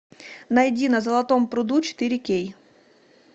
найди на золотом пруду четыре кей